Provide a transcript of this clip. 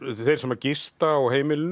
þeir sem að gista á heimilinu